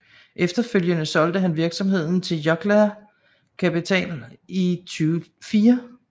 Efterfølgende solgte han virksomheden Jokela Capital i 2004